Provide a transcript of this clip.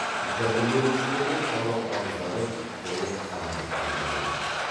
жәбірленушілердің талап арыздары толық қанағаттандырылды